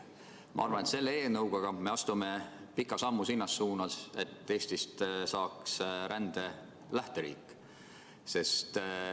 Ma arvan, et selle eelnõuga me astume pika sammu selles suunas, et Eestist saaks rände lähteriik.